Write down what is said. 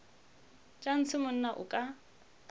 tša ntshe monna o ka